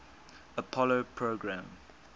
apollo program